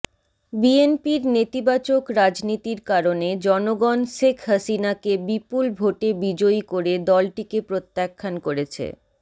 বিএনপির নেতিবাচক রাজনীতির কারণে জনগণ শেখ হাসিনাকে বিপুল ভোটে বিজয়ী করে দলটিকে প্রত্যাখ্যান করেছে